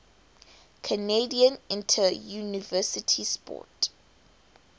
canadian interuniversity sport